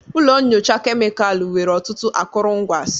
Ụlọ nyocha kemịkalụ nwere ọtụtụ akụrụngwa s